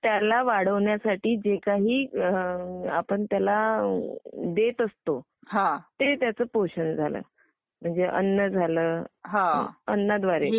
त्याला वाढवण्यासाठी जे काही आपण त्याला देत असंतो ते त्याच पोषण झाल म्हणजे अन्न झालं.. म्हणजे अन्नाद्वारे..